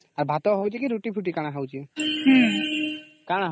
ହୁଁ ଭାତ ହୋଉଛି କି ରୁଟି ଫୁଟି ହୋଉଛି